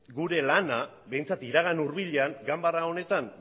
gure lana behintzat iragan hurbilean ganbara honetan